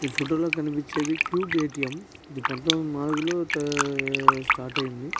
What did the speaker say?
ఈ ఫోటో లో కనిపిచ్చేది కూబ్ ఎ.టి.యం. ఇది పంతొమిది వందల నాలుగలో స్టార్ట్ అయింది.